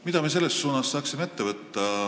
Mida me saaksime ette võtta?